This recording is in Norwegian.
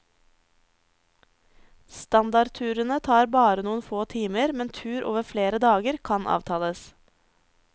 Standardturene tar bare noen få timer, men tur over flere dager kan avtales.